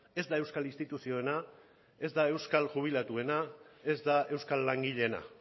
ez da euskal instituzioena ez da euskal jubilatuena ez da euskal langileena